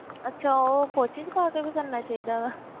ਅੱਛਾ ਉਹ ਪੋਚੇ 'ਚ ਪਾ ਕੇ ਵੀ ਕਰਨਾ ਚਾਹੀਦਾ ਵਾ